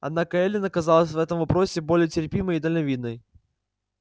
однако эллин оказалась в этом вопросе более терпимой и дальновидной